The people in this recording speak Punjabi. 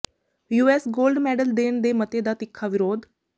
ਯੂਐਸ ਗੋਲਡ ਮੈਡਲ ਦੇਣ ਦੇ ਮਤੇ ਦਾ ਤਿੱਖਾ ਵਿਰੋਧ